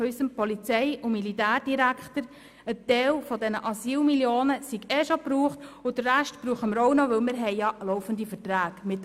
Unser Polizei- und Militärdirektor sagte, ein Teil dieser Asylmillionen seien ohnehin bereits ausgegeben und den Rest würden wir auch noch verbrauchen, weil wir ja laufende Verträge hätten.